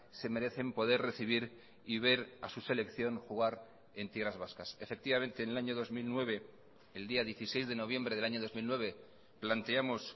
se merecen poder recibir y ver a su selección jugar en tierras vascas efectivamente en el año dos mil nueve el día dieciséis de noviembre del año dos mil nueve planteamos